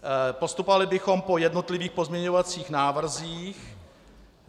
Postupovali bychom po jednotlivých pozměňovacích návrzích.